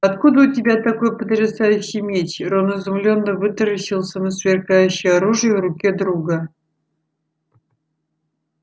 а откуда у тебя такой потрясающий меч рон изумлённо вытаращился на сверкающее оружие в руке друга